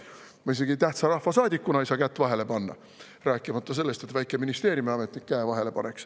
Ma ei saa isegi praegu tähtsa rahvasaadikuna kätt vahele panna, rääkimata sellest, et väike ministeeriumiametnik käe vahele paneks.